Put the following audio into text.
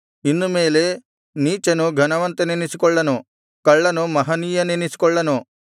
ಇನ್ನು ಮೇಲೆ ನೀಚನು ಘನವಂತನೆನಿಸಿಕೊಳ್ಳನು ಕಳ್ಳನು ಮಹನೀಯನೆನಿಸಿಕೊಳ್ಳನು